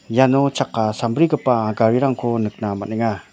iano chakka sambrigipa garirangko nikna man·enga.